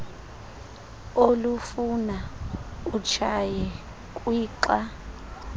olufuna utshaye kwixa